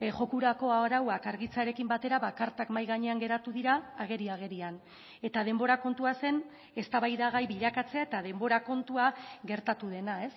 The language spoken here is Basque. jokorako arauak argitzearekin batera ba kartak mahai gainean geratu dira ageri agerian eta denbora kontua zen eztabaidagai bilakatzea eta denbora kontua gertatu dena